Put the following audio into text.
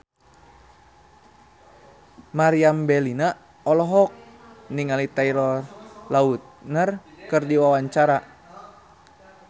Meriam Bellina olohok ningali Taylor Lautner keur diwawancara